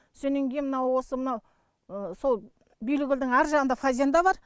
сонен кейін мынау осы мынау сол билікөлдің аржағында фазенда бар